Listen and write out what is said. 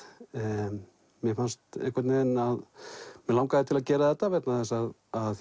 mér fannst einhvern veginn að mig langaði til að gera þetta vegna þess að